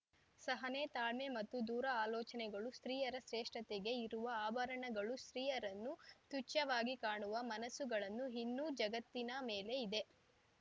ಸಹನೆ ತಾಳ್ಮೆ ಮತ್ತು ದೂರ ಆಲೋಚನೆಗಳು ಸ್ತ್ರೀಯರ ಶ್ರೇಷ್ಠತೆಗೆ ಇರುವ ಆಭರಣಗಳು ಸ್ತ್ರೀಯರನ್ನು ತುಚ್ಯವಾಗಿ ಕಾಣುವ ಮನಸುಗಳನ್ನು ಇನ್ನೂ ಜಗತ್ತಿನ ಮೇಲೆ ಇದೆ